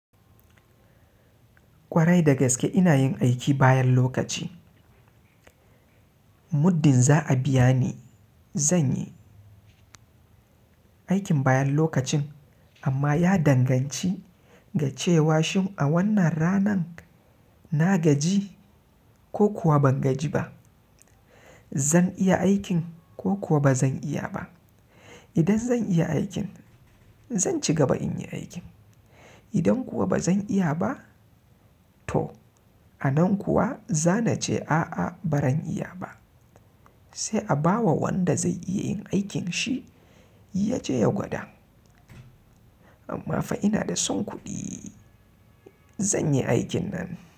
Kwarai dagaske ina yin aiki bayan lokaci. Muddin za a biya ni zan yi aikin bayan lokacin amma ya danganci ga cewa shim a wannan ranan na gaji ko kuwa ban gaji ba. Zan iya aikin ko kuwa ba zan iya ba. Idan zan iya aikin zan cigaba in yi aikin. Idan kuwa ba zan iya ba to a nan kuwa za na ce a'a ba ran iya ba. Sai a bawa wanda zai iya yin aikin shi ya je ya gwada. Amma fa ina da son kuɗi zan yi aikin nan.